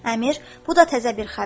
Əmir, bu da təzə bir xəbər.